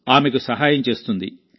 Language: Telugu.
ఆమెకు సహాయం చేస్తుంది